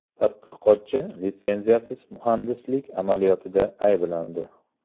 Tadqiqotchi litsenziyasiz muhandislik amaliyotida ayblandi.